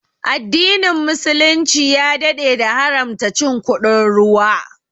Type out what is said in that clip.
Addinin muslunci ya daɗe da haramta cin kuɗin ruwa